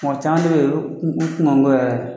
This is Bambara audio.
Mɔgɔ caman bɛ yen u